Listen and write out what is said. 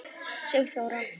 Sigþóra